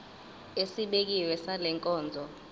esibekiwe sale nkonzo